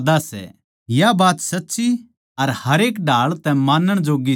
या बात सच्ची अर हरेक ढाळ तै मानण जोग्गी सै